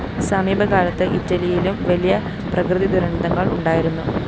സമീപകാലത്ത് ഇറ്റലിയിലും വലിയ പ്രകൃതിദുരന്തങ്ങള്‍ ഉണ്ടായിരുന്നു